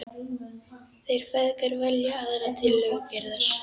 Þeir feðgar velja aðra tillögu Gerðar.